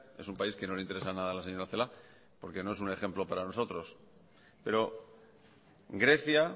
es un país que no le interesa nada a la señora celaá porque no es un ejemplo para nosotros pero grecia